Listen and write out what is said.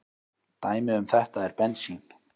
Dæmi um þetta er bensín.